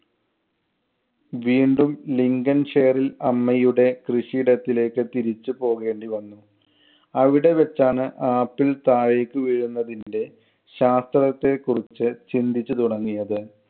വീണ്ടും ലിങ്കൻ ഷെയറില്‍ അമ്മയുടെ കൃഷിയിടത്തിലേക്ക് തിരിച്ചു പോകേണ്ടിവന്നു. അവിടെവച്ചാണ് ആപ്പിൾ താഴേക്ക് വീഴുന്നതിന്‍റെ ശാസ്ത്രത്തെ കുറിച്ച് ചിന്തിച്ചു തുടങ്ങിയത്.